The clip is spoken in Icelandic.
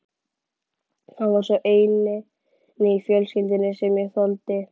Hann var sá eini í fjölskyldunni sem ég þoldi.